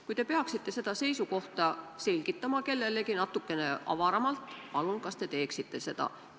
Kui te peaksite seda seisukohta selgitama kellelegi natukene avaramalt, siis palun, kas te teeksite seda?